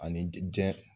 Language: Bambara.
Ani jɛn